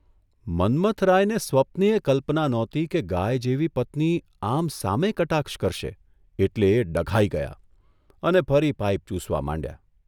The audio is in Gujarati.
મન્મથરાયને સ્વપ્નેય કલ્પના નહોતી કે ગાય જેવી પત્ની આમ સામે કટાક્ષ કરશે એટલે એ ડઘાઇ ગયા અને ફરી પાઇપ ચૂસવા માંડ્યા.